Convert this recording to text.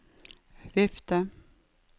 vifte